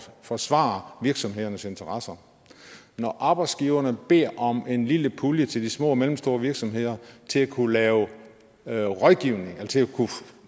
forsvare virksomhedernes interesser og når arbejdsgiverne beder om en lille pulje til de små og mellemstore virksomheder til at kunne lave lave rådgivning og til at